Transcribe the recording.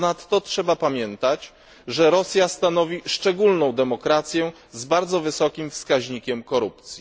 Ponadto trzeba pamiętać, że Rosja stanowi szczególną demokrację z bardzo wysokim wskaźnikiem korupcji.